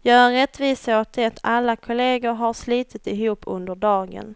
göra rättvisa åt det alla kollegor har slitit ihop under dagen.